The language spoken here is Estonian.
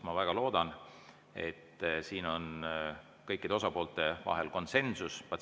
Ma väga loodan, et siin on kõikide osapoolte vahel konsensus.